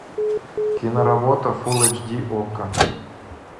киноработа фул эйч ди окко